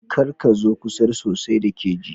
Kar ka zo kusa sosai da keji